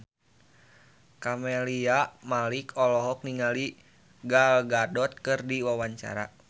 Camelia Malik olohok ningali Gal Gadot keur diwawancara